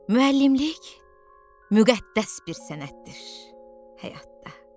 Müəllimlik müqəddəs bir sənətdir həyatda.